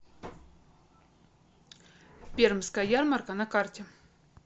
пермская ярмарка на карте